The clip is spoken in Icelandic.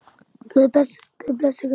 Guð blessi ykkur öll.